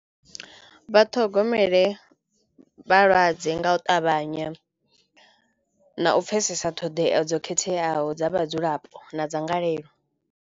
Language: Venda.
Vhaṱhogomele vhalwadze nga u ṱavhanya na u pfhesesa ṱhoḓea dzo khetheaho dza vhadzulapo na dzangalelo.